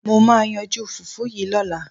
Mo máa yanjú fùfú yìí lọ́la.